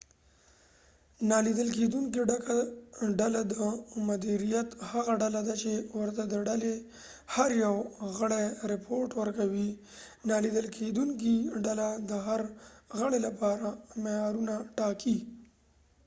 نالیدل کېدونکې ډله د مدیریت هغه ډله ده چې ورته د ډلې هر یو غړی رپوټ ورکوي نالیدل کېدونکې ډله د هر غړي لپاره معیارونه ټاکي